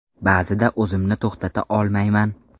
Ba’zida o‘zimni to‘xtata olmayman.